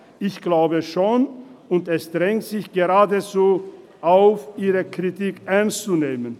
– Ich glaube schon, und es drängt sich geradezu auf, ihre Kritik ernst zu nehmen.